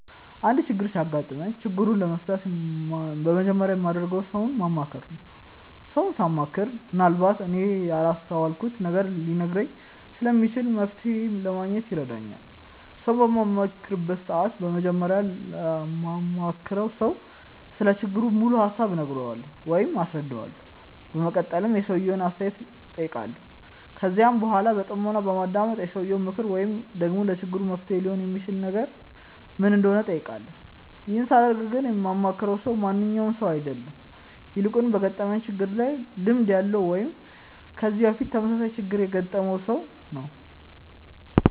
አንድ ችግር ሲያጋጥመኝ ችግሩን ለመፍታት በመጀመሪያ የማደርገው ሰውን ማማከር ነው። ሰውን ሳማክር ምንአልባት እኔ ያላስተዋልኩትን ነገር ሊነግረኝ ስለሚችል መፍተሔ ለማግኘት ይረዳኛል። ሰውን በማማክርበት ሰዓት በመጀመሪያ ለማማክረው ሰው ስለ ችግሩ ሙሉ ሀሳብ እነግረዋለሁ ወይም አስረዳዋለሁ። በመቀጠልም የሰውየውን አስተያየት እጠይቃለሁ። ከዚያም በኃላ በጥሞና በማዳመጥ የሰውየው ምክር ወይም ደግሞ ለችግሩ መፍትሔ ሊሆን የሚችል ነገር ምን እንደሆነ እጠይቃለሁ። ይህን ሳደርግ ግን የማማክረው ሰው ማንኛውም ሰው አይደለም። ይልቁንም በገጠመኝ ችግር ላይ ልምድ ያለው ወይም ከዚህ በፊት ተመሳሳይ ችግር ያገጠመውን ሰው ነው።